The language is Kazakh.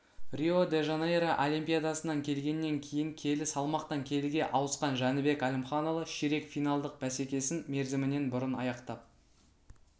рио-де-жанейро олимпиадасынан келгеннен кейін келі салмақтан келіге ауысқан жәнібек әлімханұлы ширек финалдық бәсекесін мерзімінен бұрын аяқтап